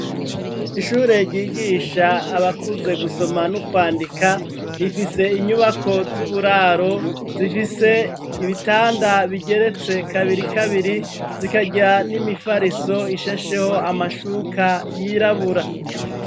Ishure ryigisha abakuze gusoma no kwandika, rifise inyubako z'uburaro, zifise ibitanda bigeretse kabiri kabiri, zikajya n'imifariso ishesheho amashuka y'irabura.